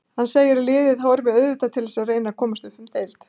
Hann segir að liðið horfi auðvitað til þess að reyna komast upp um deild.